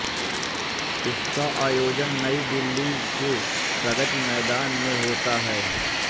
इसका आयोजन नई दिल्ली के प्रगति मैदान में होंता है